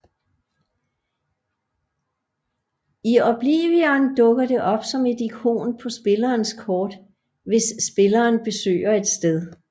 I Oblivion dukker det op som et ikon på spillerens kort hvis spilleren besøger et sted